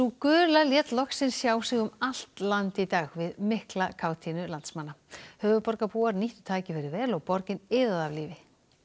gula lét loksins sjá sig um allt land í dag við mikla kátínu landsmanna höfuðborgarbúar nýttu tækifærið vel og borgin iðaði af lífi